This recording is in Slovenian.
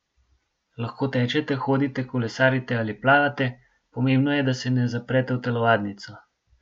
Lahko tečete, hodite, kolesarite ali plavate, pomembno je, da se ne zaprete v telovadnico.